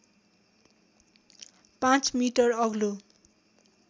५ metre अग्लो